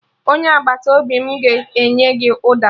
Onye agbata obi m ga-enye gị ụda